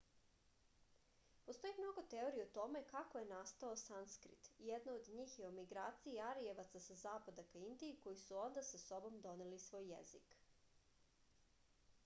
postoji mnogo teorija o tome kako je nasatao sanskrit jedna od njih je o migraciji arijevaca sa zapada ka indiji koji su onda sa sobom doneli i svoj jezik